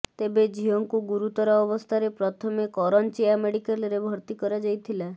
ତେବେ ଝିଅଙ୍କୁ ଗୁରୁତର ଅବସ୍ଥାରେ ପ୍ରଥମେ କରଞ୍ଜିଆ ମେଡିକାଲରେ ଭର୍ତ୍ତି କରାଯାଇଥିଲା